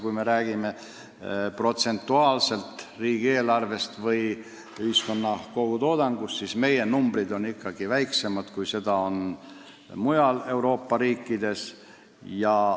Kui jutt on protsendist võrreldes ühiskonna kogutoodanguga, siis meie numbrid on väiksemad kui mujal Euroopa riikides.